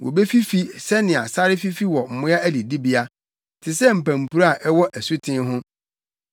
Wobefifi sɛnea sare fifi wɔ mmoa adidibea, te sɛ mpampuro a ɛwɔ asuten ho.